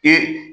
Ee